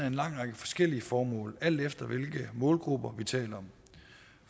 en lang række forskellige formål alt efter hvilke målgrupper vi taler om